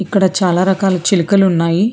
ఇక్కడ చాలా రకాల చిలకలు ఉన్నాయి.